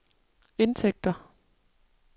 indtægter